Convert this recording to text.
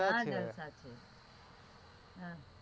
ક્યાં જલસા છે?